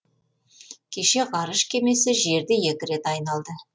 кеше ғарыш кемесі жерді екі рет айналды